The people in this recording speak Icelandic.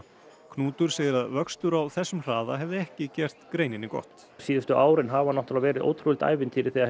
Knútur segir að vöxtur á þessum hraða hefði ekki gert greininni gott síðustu árin hafa náttúrulega verið ótrúlegt ævintýri þegar